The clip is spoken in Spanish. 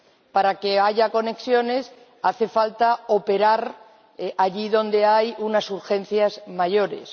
para que haya conexiones hace falta operar allí donde hay unas urgencias mayores.